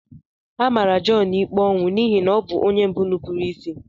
Amara Jọn ikpe ọnwụ n'ihi na ọ bụ onye mbụ nupụrụ isi.